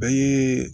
Bɛɛ ye